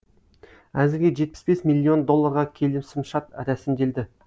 әзірге жетпіс бес миллион долларға келісімшарт рәсімделді